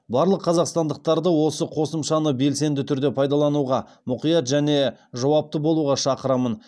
барлық қазақстандықтарды осы қосымшаны белсенді түрде пайдалануға мұқият және жауапты болуға шақырамын